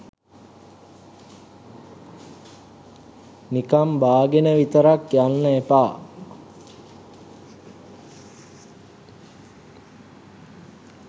නිකන් බාගෙන විතරක් යන්න එපා.